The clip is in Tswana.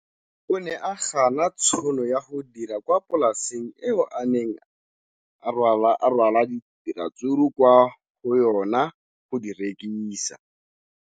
O ne a gana tšhono ya go dira kwa polaseng eo a neng rwala diratsuru kwa go yona go di rekisa.